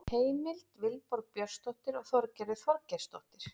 Heimild: Vilborg Björnsdóttir og Þorgerður Þorgeirsdóttir.